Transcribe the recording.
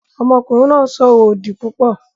Ọmọkùnrin náà ń sọ̀rọ̀ òdì púpọ̀